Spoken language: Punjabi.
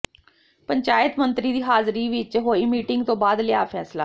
ਪੰਚਾਇਤ ਮੰਤਰੀ ਦੀ ਹਾਜ਼ਰੀ ਵਿਚ ਵਿਚ ਹੋਈ ਮੀਟਿੰਗ ਤੋਂ ਬਾਅਦ ਲਿਆ ਫੈਸਲਾ